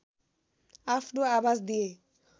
आफ्नो आवाज दिए